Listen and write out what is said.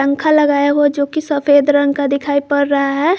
खा लगाया हुआ जोकि सफेद रंग का दिखाई पड़ रहा है।